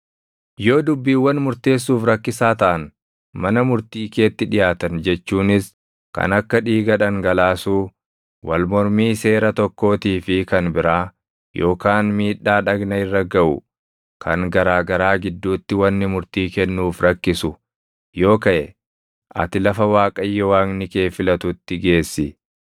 Yoo dubbiiwwan murteessuuf rakkisaa taʼan mana murtii keetti dhiʼaatan jechuunis kan akka dhiiga dhangalaasuu, wal mormii seera tokkootii fi kan biraa, yookaan miidhaa dhagna irra gaʼu kan garaa garaa gidduutti wanni murtii kennuuf rakkisu yoo kaʼe, ati lafa Waaqayyo Waaqni kee filatutti geessi.